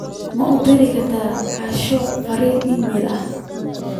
ma u diri kartaa asha fariin iimayl ahaan